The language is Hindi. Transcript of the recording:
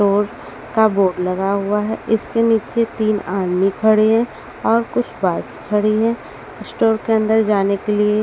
और का बोर्ड लगा हुआ है इसके नीचे तीन आदमी खड़े हैं और कुछ बाइक्स खड़ी हैं स्टोर के अंदर जाने के लिए--